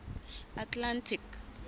atlantic